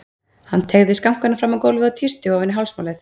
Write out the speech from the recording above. Hann teygði skankana fram á gólfið og tísti ofan í hálsmálið.